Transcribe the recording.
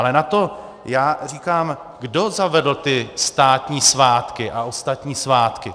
Ale na to já říkám - kdo zavedl ty státní svátky a ostatní svátky?